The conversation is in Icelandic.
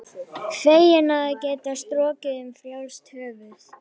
Feginn að geta strokið um frjálst höfuð.